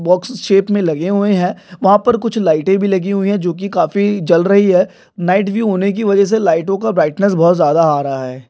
Box shape में लगे हुए हैं वहां पर कुछ लाइटे भी लगी हुई है जो की काफी जल रही है नाइट विव होने की वजह से लाइटों का ब्राइटनेस बहुत ज्यादा आ रहा है।